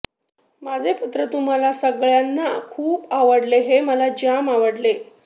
माझे पत्र तुम्हा सगळ्यांना खुप आवडले हे मला जाम आवडले